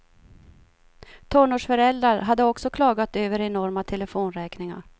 Tonårsföräldrar hade också klagat över enorma telefonräkningar.